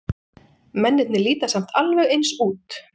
Mennirnir líta samt alveg eins út.